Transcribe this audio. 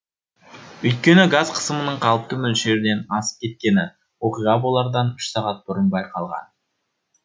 өйткені газ қысымының қалыпты мөлшерден асып кеткені оқиға болардан үш сағат бұрын байқалған